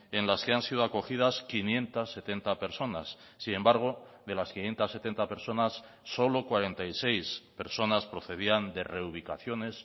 en las que han sido acogidas quinientos setenta personas sin embargo de las quinientos setenta personas solo cuarenta y seis personas procedían de reubicaciones